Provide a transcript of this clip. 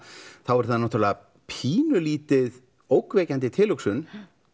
er það náttúrulega pínulítið ógnvekjandi tilhugsun